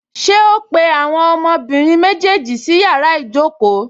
Ṣé ó pé àwọn ọmọbìnrin méjèèjì sí yàrá ìjókòó?